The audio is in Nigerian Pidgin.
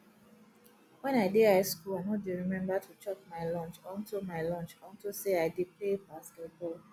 wen i dey high school i no dey remember to chop my lunch unto my lunch unto say i dey play basketball